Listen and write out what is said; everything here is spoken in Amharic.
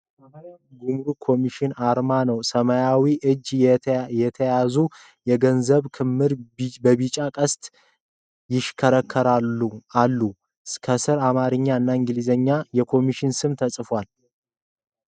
የጉምሩክ ኮሚሽን አርማ አለ። በሰማያዊ እጆች የተያዙ የገንዘብ ክምር በቢጫ ቀስት ይሽከረከራል አለ። ከስር በአማርኛ እና በእንግሊዝኛ የኮሚሽኑ ስም ተጽፏል።